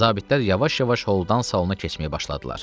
Zabitlər yavaş-yavaş holdan salona keçməyə başladılar.